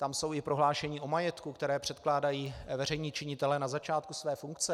Tam jsou i prohlášení o majetku, která předkládají veřejní činitelé na začátku své funkce.